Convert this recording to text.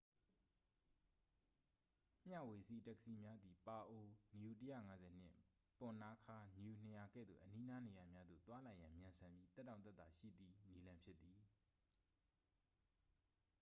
မျှဝေစီး တက္ကစီများသည် ပါအို nu ၁၅၀ နှင့် ပွန်နာခါး nu ၂၀၀ ကဲ့သို့ အနီးနား နေရာများသို့ သွားလာရန် မြန်ဆန်ပြီး သက်တောင့်သက်သာရှိသည် နည်းလမ်းဖြစ်သည်။